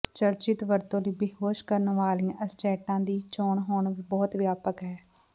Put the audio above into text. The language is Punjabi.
ਚਰਚਿਤ ਵਰਤੋਂ ਲਈ ਬੇਹੋਸ਼ ਕਰਨ ਵਾਲੀਆਂ ਅਸਚੈਂਟਾਂ ਦੀ ਚੋਣ ਹੁਣ ਬਹੁਤ ਵਿਆਪਕ ਹੈ